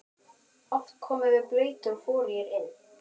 Oft komum við blautir og forugir inn.